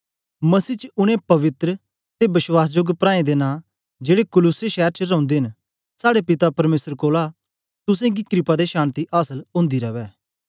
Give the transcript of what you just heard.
मसीह च उनै पवित्र ते वश्वासजोग प्राऐं दे नां जेड़े कुलुस्से शैर च रौंदे न साड़े पिता परमेसर कोलां तुसेंगी क्रपा ते शान्ति आसल ओंदी रवै